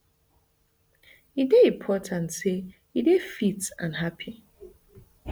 e dey important say e dey fit and happy